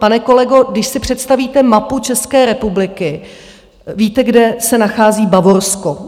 Pane kolego, když si představíte mapu České republiky, víte, kde se nachází Bavorsko.